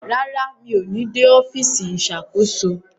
Rara, mi o ní dé ọfisi Ìṣàkóso